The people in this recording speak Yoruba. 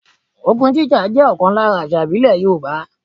Ogun jíjà jẹ́ ọ̀kan lára àṣà ìbílẹ̀ Yòrùbá